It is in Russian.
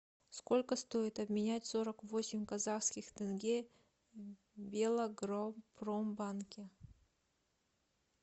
сколько стоит обменять сорок восемь казахских тенге в белагропромбанке